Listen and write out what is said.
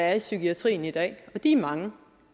er i psykiatrien i dag og de er mange